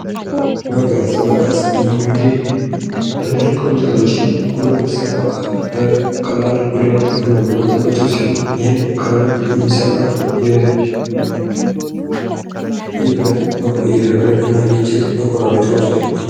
ለተለያዩ የእጅ ሥራዎችና ጥገናዎች የሚያስፈልጉ እንደ መዶሻና ስክራውድራይቨር ያሉ ነገሮች።